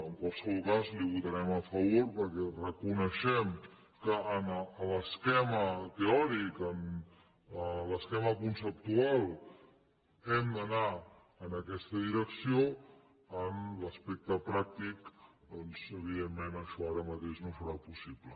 en qualsevol cas hi votarem a favor perquè reconeixem que en l’esquema teòric en l’esquema conceptual hem d’anar en aquesta direcció en l’aspecte pràctic doncs evidentment això ara mateix no serà possible